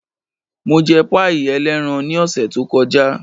Mo jẹ páì ẹlẹ́ran ní ọ̀sẹ̀ tó kọjá.